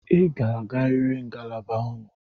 Ị ga-agarịrị ngalaba unu!